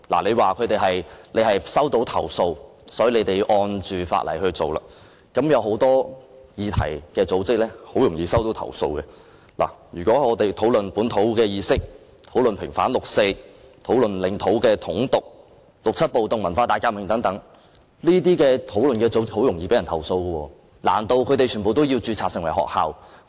政府說是收到投訴，因此根據法例執法，但是，有很多組織很容易遭到投訴，例如討論本土意識、平反六四、領土的統獨、六七暴動或文化大革命等議題的組織，難道它們全部都要註冊成為學校？